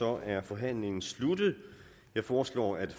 er forhandlingen sluttet jeg foreslår at